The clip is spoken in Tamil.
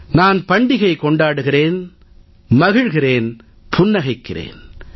நான் பண்டிகை கொண்டாடுகிறேன் மகிழ்கிறேன் புன்னகைக்கிறேன்